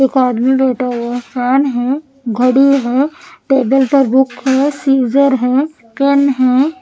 एक आदमी लेटा हुआ फेन है घडी है टेबल पर बुक है स्सिस्सर है पेन है।